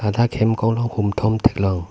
ladak hem konglong hum thom thek long.